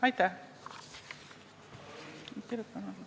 Aitäh!